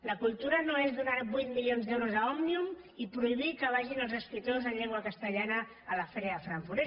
la cultura no és donar vuit milions d’euros a òmnium i prohibir que vagin els escriptors en llengua castellana a la fira de frank·furt